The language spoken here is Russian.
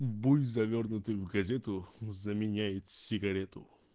буй завёрнутый в газету заменяет сигарету